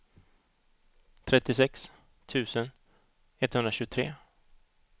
trettiosex tusen etthundratjugotre